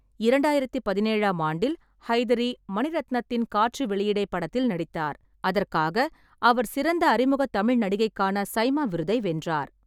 இரண்டாயிரத்து பதினேழாம் ஆண்டில், ஹைதரி மணிரத்னத்தின் காற்று வெளியிடை படத்தில் நடித்தார், அதற்காக அவர் சிறந்த அறிமுக தமிழ் நடிகைக்கான சி.ஐ.எம்.ஏ விருதை வென்றார்.